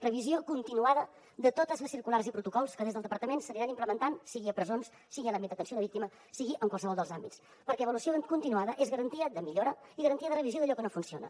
revisió continuada de totes les circulars i protocols que des del departament s’aniran implementant sigui a presons sigui a l’àmbit d’atenció a la víctima sigui en qualsevol dels àmbits perquè l’avaluació continuada és garantia de millora i garantia de revisió d’allò que no funciona